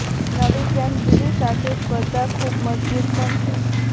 નવી ફ્રેમ જૂની સાથે સ્પર્ધા ખૂબ મજબૂત પણ છે